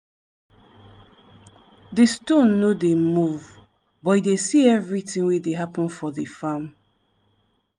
di stone no dey move but e dey see everything wey dey happen for di farm.